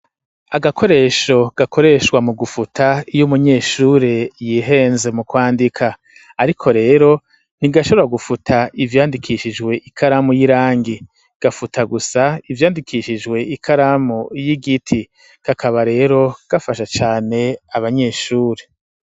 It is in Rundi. Agakoresho gakoreshwa mu gufuta ,y'umunyeshuri yihenze mu kwandika ,ariko rero ntigashobora gufuta ivyandikishijwe ikaramu y'irangi, gafuta gusa ivyandikishijwe ikaramu y'igiti ,kakaba rero gafasha cane abanyeshuri.